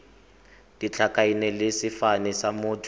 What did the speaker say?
ditlhakaina le sefane sa motho